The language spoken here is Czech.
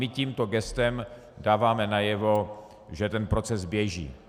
My tímto gestem dáváme najevo, že ten proces běží.